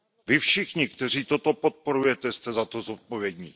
Vy všichni, kteří toto podporujete, jste za to zodpovědní.